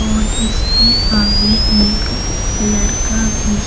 और इसके आगे एक लड़का भी--